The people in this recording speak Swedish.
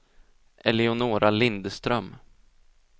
Eleonora Lindström